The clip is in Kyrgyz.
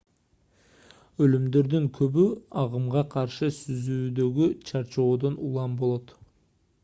өлүмдөрдүн көбү агымга каршы сүзүүдөгү чарчоодон улам болот